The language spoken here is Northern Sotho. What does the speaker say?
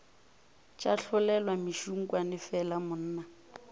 tša tlolelwa mešunkwane fela monna